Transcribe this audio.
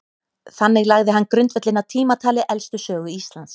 þannig lagði hann grundvöllinn að tímatali elstu sögu íslands